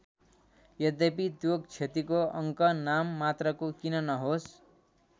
यद्यपि त्यो क्षतिको अङ्क नाम मात्रको किन नहोस्।